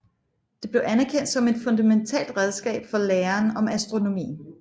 Det blev anerkendt som et fundamentalt redskab for læren om astronomien